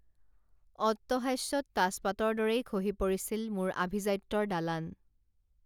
অট্টহাস্যত তাচ পাতৰ দৰেই খহি পৰিছিল মোৰ আভিজাত্যৰ দালান